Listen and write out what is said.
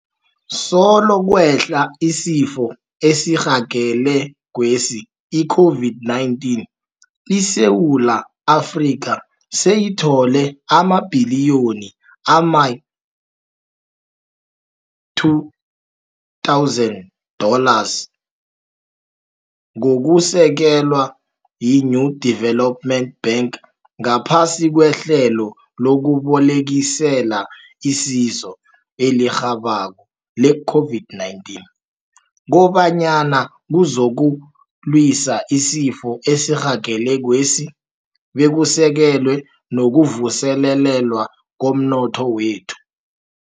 Solo kwehla isifo esirhagelekwesi i-COVID-19, iSewula Afrika seyithole amabhiliyoni ama-2 000 dollars ngokusekelwa yi-New Development Bank ngaphasi kweHlelo lokuBolekisela iSizo eliRhabako le-COVID-19 kobanyana kuzokulwiswa isifo esirhagelekwesi bekusekelwe nokuvuselelwa komnotho wethu.